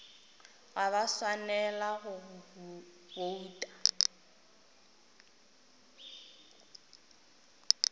ga ba swanela go bouta